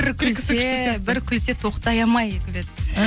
бір күлсе бір күлсе тоқтай алмай күледі